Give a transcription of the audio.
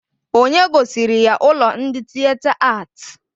Onye gosiri ya ụlọ ndị Tịeta Atị?